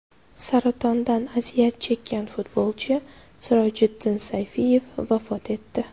Saratondan aziyat chekkan futbolchi Sirojiddin Sayfiyev vafot etdi .